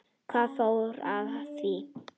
Hvernig fór hann að því?